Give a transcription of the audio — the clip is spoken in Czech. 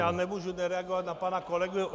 Já nemůžu nereagovat na pana kolegu.